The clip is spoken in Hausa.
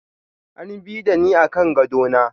An bi da ni akan gado na.